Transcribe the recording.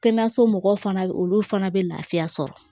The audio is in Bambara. Kɛnɛyaso mɔgɔw fana olu fana bɛ lafiya sɔrɔ